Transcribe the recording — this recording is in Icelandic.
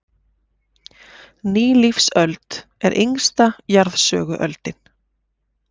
Nýlífsöld er yngsta jarðsöguöldin.